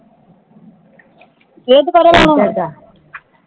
ਫੇਰ ਦੋਬਾਰਾ ਲਾਉਣਾ